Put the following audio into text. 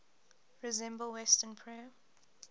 resemble western prayer